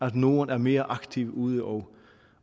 at norden er mere aktivt ude og